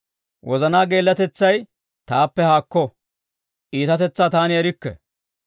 Wozanaa geellatetsay taappe haakko; iitatetsaa taani erikke.